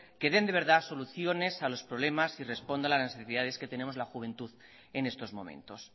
que den de verdad soluciones a los problemas y respondan a las necesidades que tenemos la juventud en estos momentos